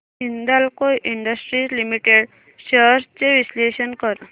Hindalco industries limited shares चे विश्लेषण कर